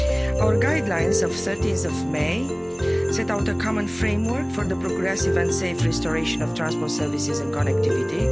Our guidelines of 13 May set out a common framework for the progressive and safe restoration of transport services and connectivity.